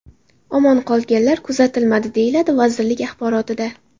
Omon qolganlar kuzatilmadi”, deyiladi vazirlik axborotida.